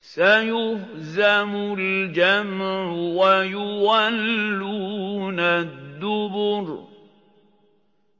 سَيُهْزَمُ الْجَمْعُ وَيُوَلُّونَ الدُّبُرَ